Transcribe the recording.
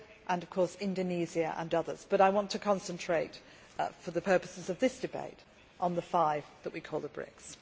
and of course Indonesia and others but I want to concentrate for the purposes of this debate on the five that we call the BRICS.